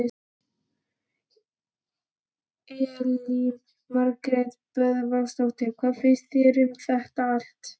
Elín Margrét Böðvarsdóttir: Hvað finnst þér um þetta allt?